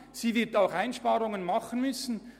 Zudem wird sie Einsparungen vornehmen müssen.